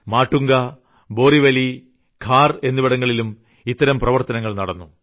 മാട്ടുംഗ ബോറീവില്ലി ഖാർ എന്നിവിടങ്ങളിലും ഇത്തരം പ്രവർത്തനങ്ങൾ നടന്നു